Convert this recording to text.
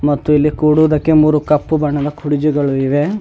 ಮತ್ತು ಇಲ್ಲಿ ಕೂಡುವುದಕ್ಕೆ ಮೂರು ಕಪ್ಪು ಬಣ್ಣದ ಕುರ್ಚಿಗಳು ಇವೆ.